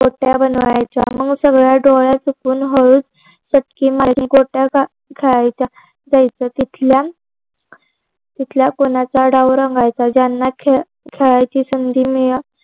गोट्या बनवायच्या मग सगळ्या गोळ्या बनवून हळूच गोट्या खेळायला जायचं तिथल्या तिथल्या कोणाचा डाव रंगायचा ज्यांना खेळायची संधी